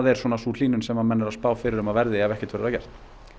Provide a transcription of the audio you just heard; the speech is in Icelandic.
er sú hlýnun sem menn eru að spá fyrir að verði ef ekkert verður að gert